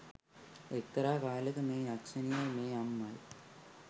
එක්තරා කාලෙක මේ යක්ෂණියයි මේ අම්මයි